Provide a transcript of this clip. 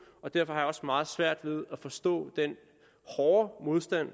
derfor har jeg også meget svært ved at forstå den hårde modstand